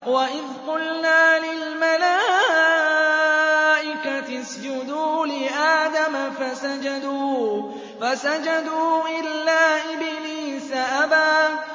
وَإِذْ قُلْنَا لِلْمَلَائِكَةِ اسْجُدُوا لِآدَمَ فَسَجَدُوا إِلَّا إِبْلِيسَ أَبَىٰ